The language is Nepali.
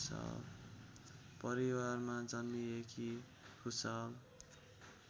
परिवारमा जन्मिएकी भुसाल